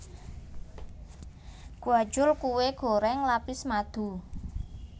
Gwajul kue goreng lapis madu